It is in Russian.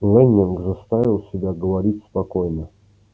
лэннинг заставил себя говорить спокойно